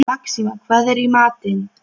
Ásta, einhvern tímann þarf allt að taka enda.